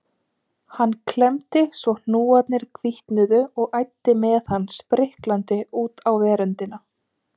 Hann klemmdi svo hnúarnir hvítnuðu og æddi með hann spriklandi út á veröndina.